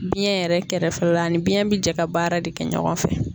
Biyɛn yɛrɛ kɛrɛfɛla ani biyɛn bɛ jɛ ka baara de kɛ ɲɔgɔn fɛ.